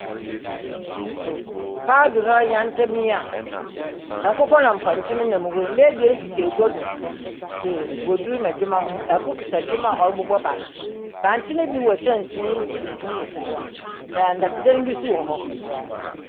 Paado hɔ yantamm yi a nkokɔ na mpɔnkye nenam hɔ yi, mba ebien tete agua do te wɔdur na dwemma ho. Kor kota dwemma a ɔrobobɔ bankye. Bankye no bi wɔ kyɛnsee mu tuntum mu si hɔ, na dɔtwdan binso wɔ hɔ.